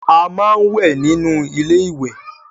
A máa ń wẹ̀ nínú ilé ìwé